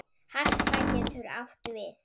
Harpa getur átt við